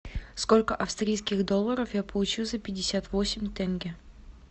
сколько австралийских долларов я получу за пятьдесят восемь тенге